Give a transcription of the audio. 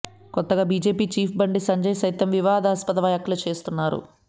కొత్తగా BJP chief Bandi Sanjay సైతం వివాదాస్పద వ్యాఖ్యలు చేస్తున్నారు